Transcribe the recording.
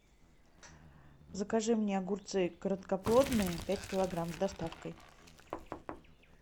закажи мне огурцы короткоплодные пять килограмм с доставкой